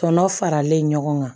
Tɔnɔ faralen ɲɔgɔn kan